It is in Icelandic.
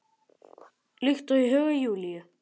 Líkt og í huga Júlíu.